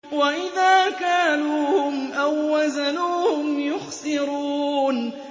وَإِذَا كَالُوهُمْ أَو وَّزَنُوهُمْ يُخْسِرُونَ